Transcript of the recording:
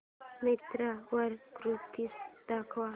मिंत्रा वर कुर्तीझ दाखव